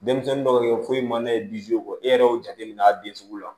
Denmisɛnnin dɔw bɛ ye foyi man d'a ye kɔ e yɛrɛ y'o jateminɛ a den sugu la